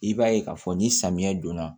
I b'a ye k'a fɔ ni samiyɛ donna